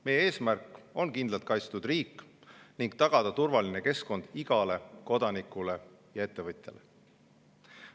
Meie eesmärk on tagada kindlalt kaitstud riik ning turvaline keskkond igale kodanikule ja ettevõtjale.